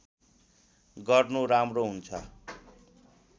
गर्नु राम्रो हुन्छ